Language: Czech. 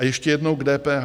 A ještě jednou k DPH.